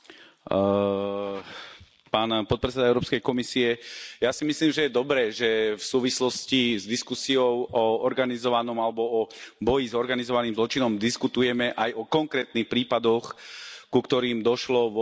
Vážená pani predsedajúca, ja si myslím, že je dobré, že v súvislosti s diskusiou o organizovanom zločine alebo o boji s organizovaným zločinom diskutujeme aj o konkrétnych prípadoch, ku ktorým došlo vo Švédsku a v Dánsku.